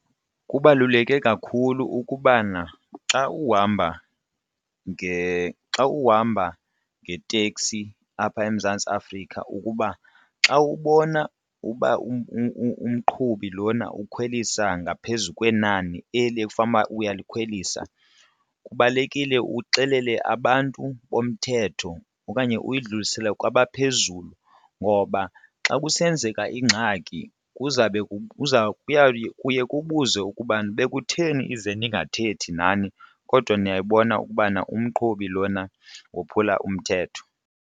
Kubaluleke kakhulu ukubana xa uhamba xa uhamba ngeteksi apha eMzantsi Afrika ukuba xa ubona uba umqhubi lona ukhwelisa ngaphezu kwenani eli ekufanuba uyalikhwelisa kubalulekile uxelele abantu bomthetho okanye uyidlulisele kwabaphezulu ngoba xa kusenzeka ingxaki kuzabe kuye kubuzwe ukubana bekutheni ize ndingathethi nani kodwa ndiyayibona ukubana umqhubi lona wophula umthetho.